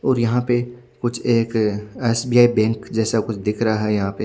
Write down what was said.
और यह पे कुछ एक एस_बी_आई बैंक जेसा कुछ दिख रहा है यहाँ पे--